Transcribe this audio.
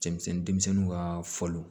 Cɛmisɛnnin denmisɛnninw ka faliw